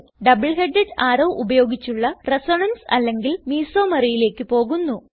double headed arrow ഉപയോഗിച്ചുള്ള resonance അല്ലെങ്കിൽ Mesomeryലേക്ക് പോകുന്നു